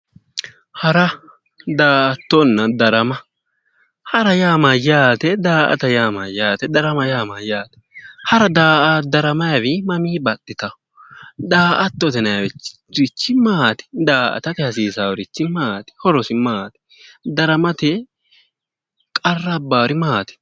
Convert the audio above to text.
Hara daa"attonna darama, hara yaa mayyate? Daa"atto yaa mayyaate? Darama yaa mayyaate? Hara daramayiwayi mamii baxxata? Da"attote yinayirichi maati? Daa"atate hasiisaarichi maati? Horosi maati? Daramate qarra abbaari maati?